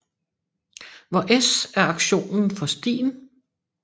Hvor S er aktionen for stien